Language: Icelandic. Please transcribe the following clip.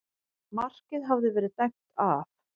Markið hafði verið dæmt af